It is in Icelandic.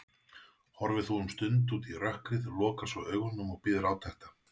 Horfir um stund út í rökkrið, lokar svo augunum og bíður átekta.